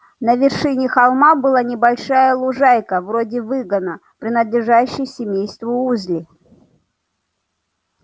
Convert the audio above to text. на вершине холма была небольшая лужайка вроде выгона принадлежащая семейству уизли